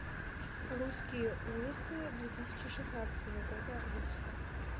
русские ужасы две тысячи шестнадцатого года выпуска